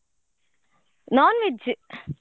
Non-veg.